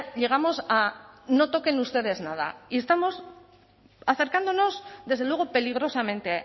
llegamos a no toquen ustedes nada y estamos acercándonos desde luego peligrosamente